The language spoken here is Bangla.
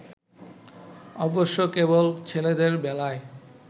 অবশ্য কেবল ছেলেদের বেলায়